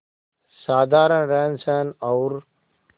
साधारण रहनसहन और